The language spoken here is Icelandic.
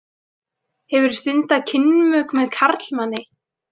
Hefur þú stundað kynmök með karlmanni?